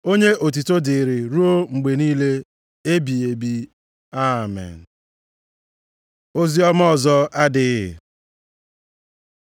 Onye otuto dịịrị ruo mgbe niile ebighị ebi. Amen. Oziọma ọzọ adịghị